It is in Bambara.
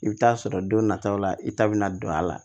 I bɛ taa sɔrɔ don nataw la i ta bɛna don a la